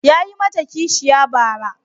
Yayi mata kishiya bara.